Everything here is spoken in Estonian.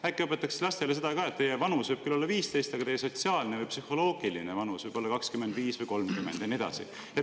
Äkki õpetataks lastele seda ka, et teie vanus on küll 15, aga teie sotsiaalne või psühholoogiline vanus võib olla 25 või 30, ja nii edasi?